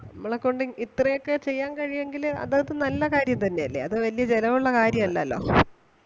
നമ്മളെകൊണ്ട് ഇത്രേ ഒക്കെ ചെയ്യാൻ കഴിയും എങ്കില് അത് അത് നല്ല കാര്യം തന്നെ അല്ലെ, അത് വല്യ ചെലവ് ഒള്ള കാര്യം അല്ലല്ലോ.